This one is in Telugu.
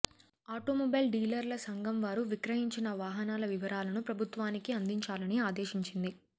ఆటోమొబైల్ డీలర్ల సంఘం వారు విక్రయించిన వాహనాల వివరాలను ప్రభుత్వానికి అందించాలని ఆదేశించింది